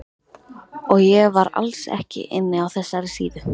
Og ég var alls ekki inni á þessari síðu!